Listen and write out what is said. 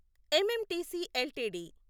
MMTC LTD